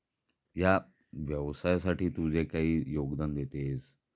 या व्यवसाया साठी तु जे काही योगदान देतेस